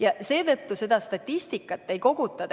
Ja seetõttu seda statistikat ei koguta.